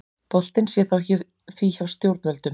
Boltinn sé því hjá stjórnvöldum